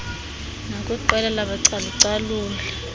nakwiqela labacalu caluli